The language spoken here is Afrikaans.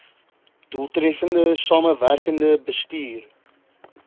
doeltreffende samewerkende bestuur